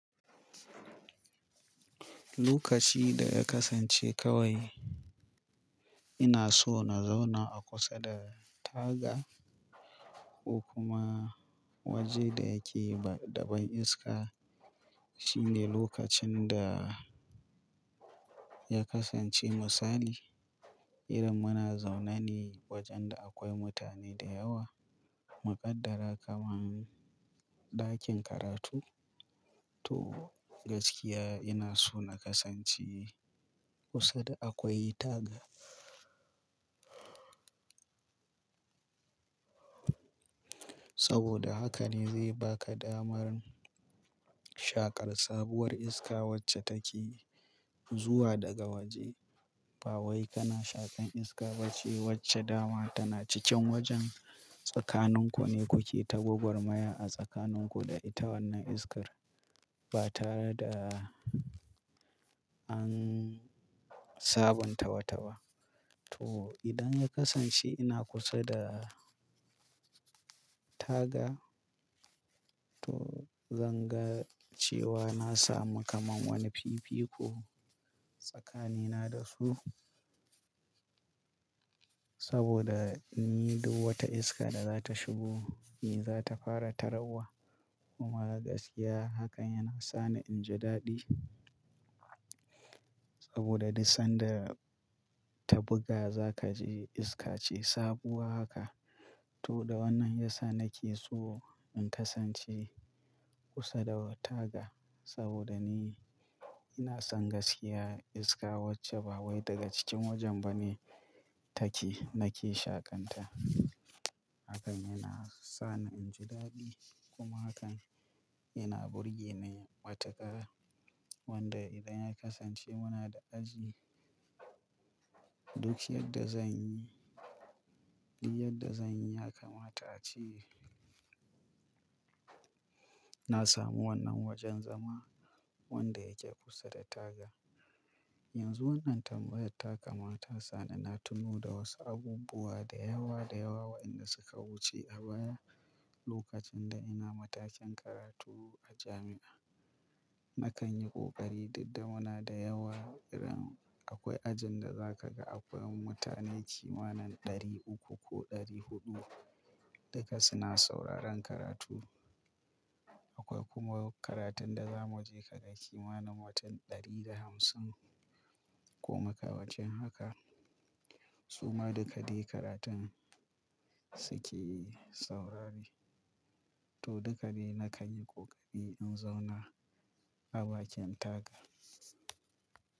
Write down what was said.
Lokaci da ya kasance kawai ina so na zauna a kusa da taga ko kuma waje da yake da ban iska. Shine lokacin da ya kasance misali idan muna zaune ne wajen da akwai mutane da yawa, muƙaddara kaman ɗakin karatu. To gaskiya ina so na kasance kusa da akwai taga. Saboda haka ne zai baka damar shaƙar sabuwar iska wacce take zuwa daga waje. Ba wai kana shakan iska ba ce wacce dama tana cikin wajen tsakanin ku ne kuke ta gwagwarmaya a tsakanin ku da ita wannan iskar ba tare da an sabuntawa-tawa. To idan ya kasance ina kusa da taga, to zan ga cewa na samu kaman wani fifiko tsakanina da su. Saboda ni duk wata iska da za ta shigo ni za ta fara tararwa. Kuma gaskiya hakan yana sa ni in ji daɗi. Saboda duk sanda ta buga za kaji iska ce sabuwa haka. To da wannan yasa nake so in kasance kusa da taga saboda ni ina son gaskiya iska wacce ba wai daga cikin wajen ba ne take nake shakanta. Hakan yana sa ni in ji daɗi kuma hakan yana burge ni matukar. Wanda idan ya kasance muna da aji, duk yadda zan yi, duk yadda zan yi ya kamata ce na samu wannan wajen zama wanda yake kusa da taga. Yanzu wannan tambayar ta kamata sa ni na tuno da wasu abubuwa da yawa da yawa waɗanda suka wuce a baya lokacin da ina matakin karatu a jami'a. Na kan yi ƙoƙari duk da muna da yawa idan akwai ajin da za ka ga akwai mutane kimanin ɗari uku ko ɗari huɗu duka suna sauraron karatu. Akwai kuma karatun da za mu je ka ga kimanin mutun ɗari da hamsin ko makamancin haka. Su ma duka de karatun suke saurari. To duka ne na kan yi ƙoƙari in zauna a bakin taga.